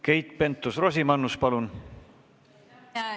Keit Pentus-Rosimannus, palun!